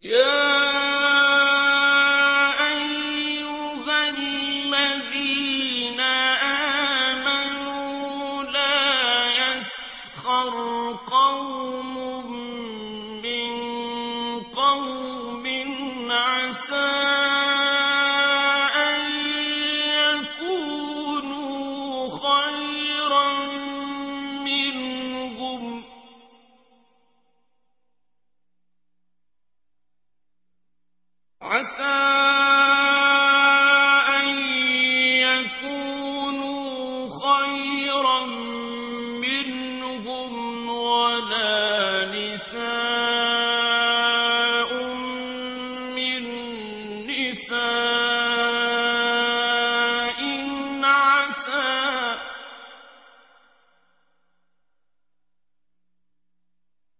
يَا أَيُّهَا الَّذِينَ آمَنُوا لَا يَسْخَرْ قَوْمٌ مِّن قَوْمٍ عَسَىٰ أَن يَكُونُوا خَيْرًا مِّنْهُمْ وَلَا نِسَاءٌ مِّن نِّسَاءٍ